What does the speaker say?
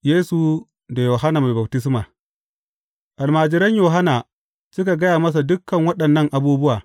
Yesu da Yohanna Mai Baftisma Almajiran Yohanna suka gaya masa dukan waɗannan abubuwa.